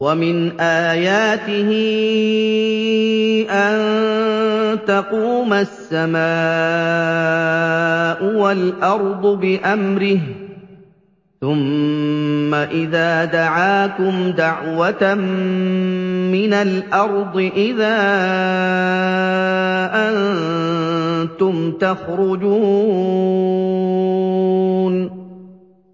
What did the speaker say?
وَمِنْ آيَاتِهِ أَن تَقُومَ السَّمَاءُ وَالْأَرْضُ بِأَمْرِهِ ۚ ثُمَّ إِذَا دَعَاكُمْ دَعْوَةً مِّنَ الْأَرْضِ إِذَا أَنتُمْ تَخْرُجُونَ